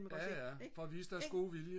For at vise deres gode vilje